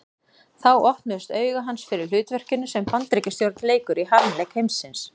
Þá opnuðust augu hans fyrir hlutverkinu sem Bandaríkjastjórn leikur í harmleik heimsins.